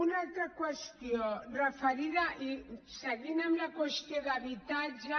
una altra qüestió seguint amb la qüestió d’habitatge